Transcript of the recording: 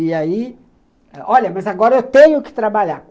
E aí, olha, mas agora eu tenho que trabalhar.